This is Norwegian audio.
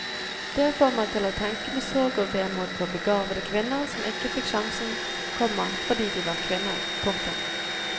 Det får meg til å tenke med sorg og vemod på begavede kvinner som ikke fikk sjansen, komma fordi de var kvinner. punktum